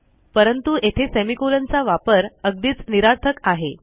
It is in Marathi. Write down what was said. परंतु येथे सेमिकोलॉन चा वापर अगदीच निरर्थक आहे